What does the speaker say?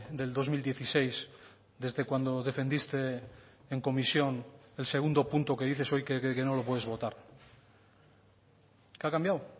del dos mil dieciséis desde cuando defendiste en comisión el segundo punto que dices hoy que no lo puedes votar qué ha cambiado